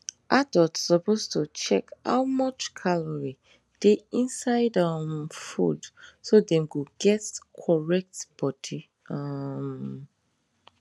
adult suppose to check how much calorie dey inside um food so dem go get correct body um